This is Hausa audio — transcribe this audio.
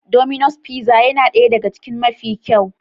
Domino's fizza yana ɗaya ɗaga cikin mafi kyau.